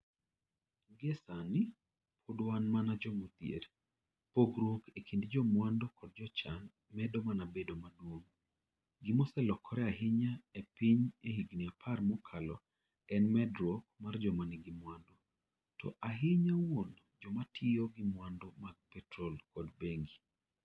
Gie sani, pod wan mana joma odhier. Pogruok e kind jomwandu kod jochan medo mana bedo maduong' Gima oselokore ahinya e piny e higini apar mokalo en medruok mar joma nigi mwandu, to ahinya wuon joma tiyo gi mwandu mag petrol kod bengi.